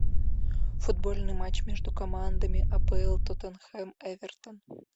футбольный матч между командами апл тоттенхэм эвертон